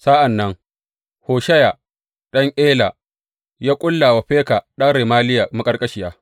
Sa’an nan Hosheya ɗan Ela ya ƙulla wa Feka ɗan Remaliya maƙarƙashiya.